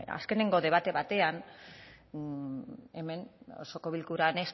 azkenengo debate batean hemen osoko bilkuran